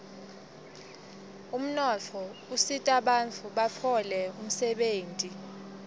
umnotfo usitabantfu batfole umsebenti